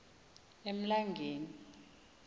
emlangeni